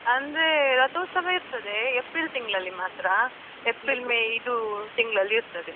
ಅಂದ್ರೆ ರಥೊತ್ಸವ ಇರ್ತದೆ, ಏಪ್ರಿಲ್ ತಿಂಗ್ಳಲ್ಲಿ ಮಾತ್ರ. ಏಪ್ರಿಲ್ ಮೇ ಇದು ತಿಂಗ್ಳಲ್ಲಿ ಇರ್ತದೆ.